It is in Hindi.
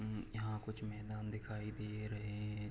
हम्म यहाँ कुछ मैदान दिखाई दे रहे हैं।